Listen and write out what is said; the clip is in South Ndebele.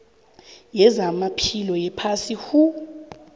yezamaphilo yephasi who